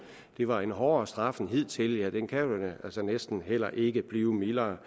det var en hårdere straf end hidtil ja den kan vel næsten heller ikke blive mildere